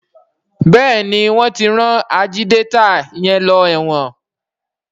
Béèni wón tí ran Ajídétà yén ló èwòn.